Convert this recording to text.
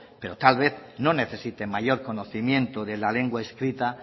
pero tal vez no necesite mayor conocimiento de la lengua escrita